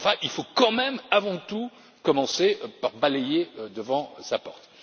Il faut quand même avant tout commencer par balayer devant sa porte.